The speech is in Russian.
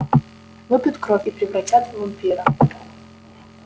выпьют кровь и превратят в вампира